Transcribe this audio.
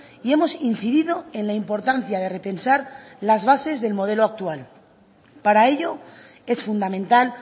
y hemos incidido en la importancia de repensar las bases del modelo actual para ello es fundamental